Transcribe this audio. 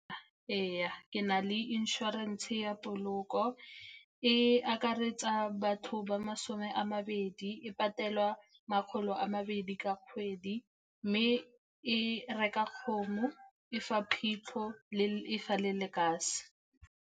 Ee, ke na le inšorense ya poloko e akaretsa batho ba masome a mabedi. E patelwa makgolo a mabedi ka kgwedi, mme e reka kgomo, e fa phitlho e fa le lekase.